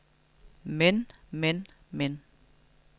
men men men